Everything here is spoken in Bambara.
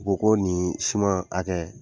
U ko ko nin siman hakɛ